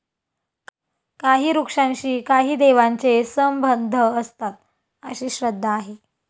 काही वृक्षांशी काही देवांचे संबंध असतात, अशी श्रद्धा आहे.